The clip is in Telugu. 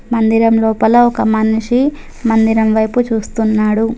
మందిరం లోపల ఒక మనిషి మందిరం వైపు చూస్తున్నాడు.